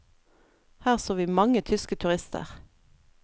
Her så vi mange tyske turister.